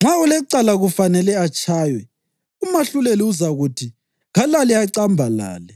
Nxa olecala kufanele atshaywe, umahluleli uzakuthi kalale acambalale